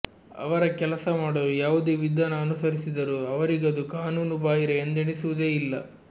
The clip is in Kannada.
ಅವರ ಕೆಲಸ ಮಾಡಲು ಯಾವುದೇ ವಿಧಾನ ಅನುಸರಿಸಿದರೂ ಅವರಿಗದು ಕಾನೂನು ಬಾಹಿರ ಎಂದೆಣಿಸುವುದೇ ಇಲ್ಲ